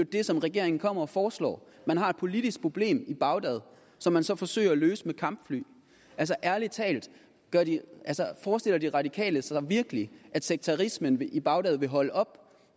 det som regeringen kommer og foreslår man har et politisk problem i bagdad som man så forsøger at løse med kampfly altså ærlig talt forestiller de radikale sig virkelig at sekterismen i bagdad vil holde op